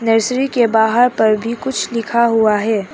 Nursery के बाहर पर भी कुछ लिखा हुआ है।